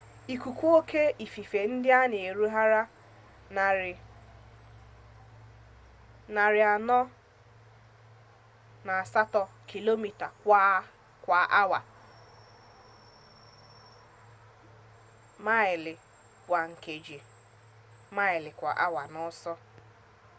ikuku oke ifufe ndị a na-erucha 480 kilomita kwa awa 133 maịlụ kwa nkeji; 300 maịlụ kwa awa n'ọsọ